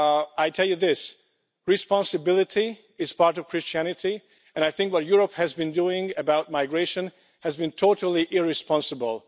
I tell you this responsibility is part of Christianity, and I think that what Europe has been doing about migration has been totally irresponsible.